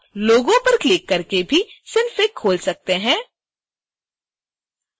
आप लोगो पर क्लिक करके भी synfig खोल सकते हैं